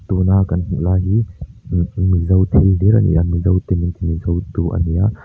tuna kan hmuh lai hi mih mizo thil hlir ani a mizo te min ti mizo tu ani a.